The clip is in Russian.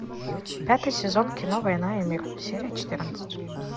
пятый сезон кино война и мир серия четырнадцать